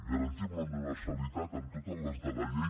garantim la universalitat amb totes les de la llei